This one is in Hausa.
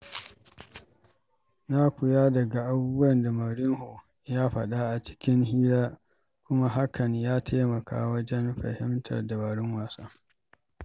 Na koya daga abubuwan da Mourinho ke faɗa a cikin hira, kuma hakan ya taimaka min wajen fahimtar dabarun wasa.